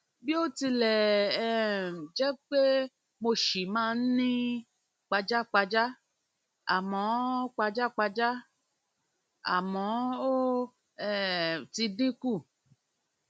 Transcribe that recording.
bó tilẹ um jẹ pé mo ṣì máa ń ní pajápajá àmọ pajápajá àmọ ó um ti dín kù